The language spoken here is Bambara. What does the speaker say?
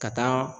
Ka taa